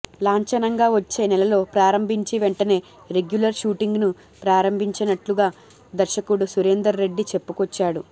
లాంచనంగా వచ్చే నెలలో ప్రారంభించి వెంటనే రెగ్యులర్ షూటింగ్ను ప్రారంభించనున్నట్లుగా దర్శకుడు సురేందర్ రెడ్డి చెప్పుకొచ్చాడు